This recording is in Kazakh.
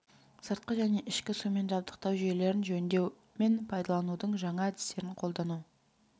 сыртқы және ішкі сумен жабдықтау жүйелерін жөндеу мен пайдаланудың жаңа әдістерін қолдану